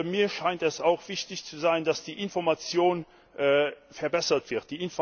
Mir scheint es auch wichtig zu sein, dass die Information verbessert wird.